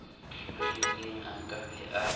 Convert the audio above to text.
rerileng a ka be a